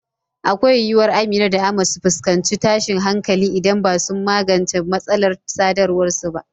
Akwai yiwuwar Amina da Ahmad su fuskanci tashin hankali idan ba su magance matsalar sadarwar su ba.